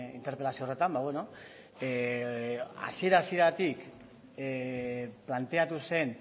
interpelazio horretan ba bueno hasiera hasieratik planteatu zen